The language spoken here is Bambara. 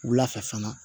Wula fɛ fana